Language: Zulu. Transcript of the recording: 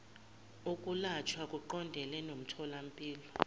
ukulashwa kuqondene nomtholampilo